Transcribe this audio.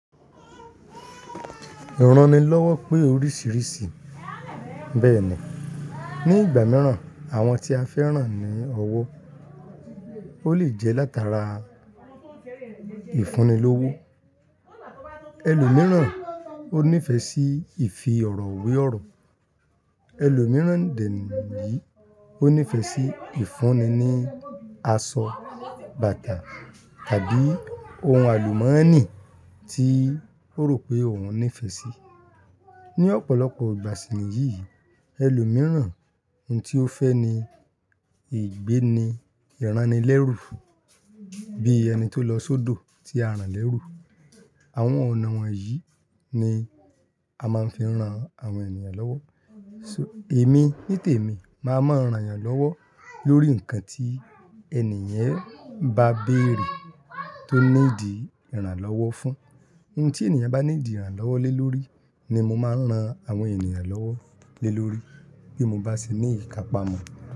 Ìranilọ́wọ́ pé oríṣìíríṣìí. Bẹ́ẹ̀ ni, ní ìgbà mìíràn àwọn tí a fẹ́ran ní ọwọ́, ó lè jẹ́ látara ìfúnni lowo. Ẹlòmíràn ó nífẹ̀ẹ́ sí ìfi ọ̀rọ̀ we ọ̀rọ̀. Ẹlòmíràn dẹ nìyí, ó nífẹ̀ẹ́ sí ìfúnni ní aṣọ, bàtà tàbí ohun àlùmọ́nì tí ó rò pé òun nífẹ̀ẹ́ sí. Ni ọ̀pọ̀lọpọ̀ ìgbà síniyìí, ẹlòmíràn ohun tí ó fẹ́ ni ìgbéni ìranilẹ́rú bí ẹni tó lọ sódò tí a rán lẹ́rú. Àwọn ọ̀nà wọ̀nyí ni a máa ń fi ran àwọn ènìyàn lọ́wọ́. So èmi ní tèmi, màá máa ń rán yàn lọ́wọ́ lórí ǹkan tí ènìyàn bá béèrè tó nídi ìrànlọ́wọ́ fún. Ohun tí ènìyàn bá nídi ìrànlọ́wọ́ lé lórí ni mo máa ń ran àwọn ènìyàn lọ́wọ́ lé lórí bí mo bá ṣe ní ìkapamọ́.